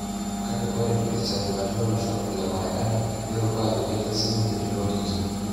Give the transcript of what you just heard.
Kake ore ilsenetani lolosho le marekani neiruko ajo ketii sininye ilo kingi.